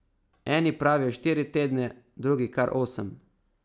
Eni pravijo štiri tedne, drugi kar osem.